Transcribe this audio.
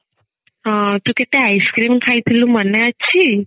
ହଁ ତୁ କେତେ ice-cream ଖାଇଥିଲୁ ମନେ ଅଛି